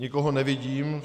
Nikoho nevidím.